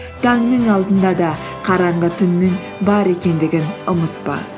таңның алдында да қараңғы түннің бар екендігін ұмытпа